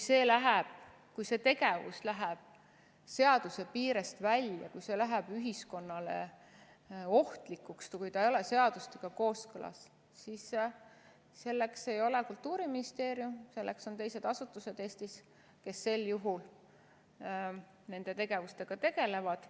Kui see tegevus läheb seaduse piirest välja, kui see läheb ühiskonnale ohtlikuks, kui ta ei ole seadustega kooskõlas, siis selleks ei ole Kultuuriministeerium, selleks on teised asutused Eestis, kes sel juhul nende tegevustega tegelevad.